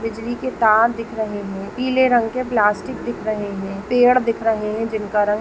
बिजली के तार दिख रहे है पीले रंग के प्लास्टिक दिख रहे हैं पेड़ दिख रहे हैं जिनका रंग--